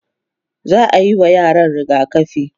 za'ayi wa yaran rigakafi